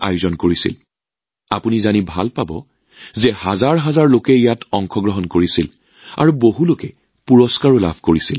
আপোনালোকে জানি আনন্দিত হব যে ইয়াত হাজাৰ হাজাৰ লোকে অংশগ্ৰহণ কৰিছিল আৰু বহুতে পুৰস্কাৰো লাভ কৰিছিল